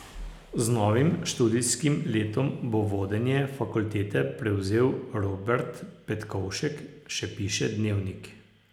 Z novim študijskim letom bo vodenje fakultete prevzel Robert Petkovšek, še piše Dnevnik.